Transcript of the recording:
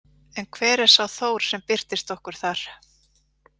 En hver er sá Þór sem birtist okkur þar?